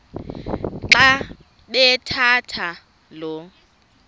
xa bathetha lo